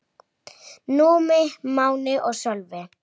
Allt lék í hans höndum.